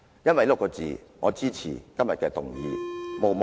因為這6個字，我支持今天的議案......